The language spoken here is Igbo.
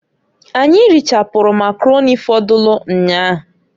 Anyị richapụrụ Makaroni fọdụlụ nnyaa.